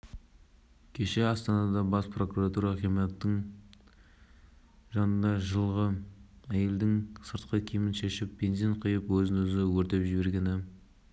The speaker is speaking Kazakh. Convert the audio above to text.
қарамай жұмыс істеп жатырсыңдар табысты болыңдар бұл деген еліміздің жылдығына әкелген өте үлкен сыйлық болып